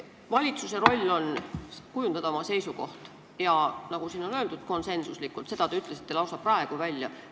Valitsuse roll on kujundada oma seisukoht, nagu siin on öeldud, konsensuslikult, selle te ütlesite lausa praegu välja.